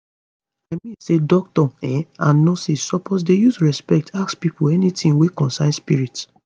i mean say doctors um and nurses suppose dey use respect ask pipo anytin wey concern spirit